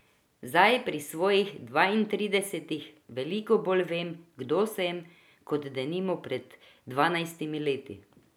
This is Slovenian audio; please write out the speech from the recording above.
Zdaj, pri svojih dvaintridesetih, veliko bolj vem, kdo sem, kot denimo pred dvanajstimi leti.